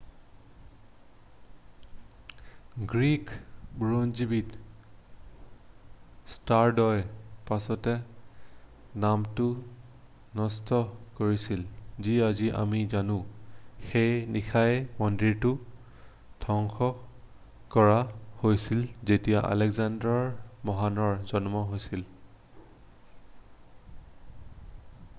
Greek বুৰঞ্জীবিদ ষ্টাৰড'য়ে পাছত নামটো ন'ট কৰিছিল যি আজি আমি জানো৷ সেই নিশাই মন্দিৰটো ধ্বংস কৰা হৈছিল যেতিয়া আলেকজেণ্ডাৰ মহানৰ জন্ম হৈছিল৷